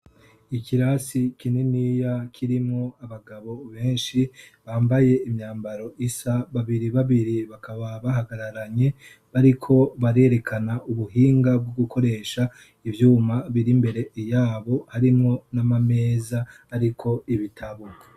ikirasi kininiya kirimwo abagabo benshi bambaye imyambaro isa babiri babiri bakaba bahagararanye bariko barerekana ubuhinga bwo gukoresha ibyuma biri mbere iyabo harimwo n'amameza ariko ibitabo